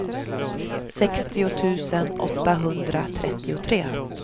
sextio tusen åttahundratrettiotre